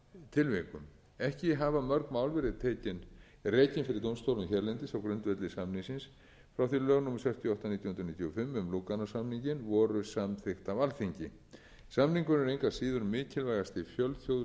tilvikum ekki hafa mörg mál verið rekin hérlendis á grundvelli samningsins frá því að lög númer sextíu og átta nítján hundruð níutíu og fimm um lúganósamninginn voru samþykkt á alþingi samningurinn er engu að síður mikilvægasti fjölþjóðlegi samningurinn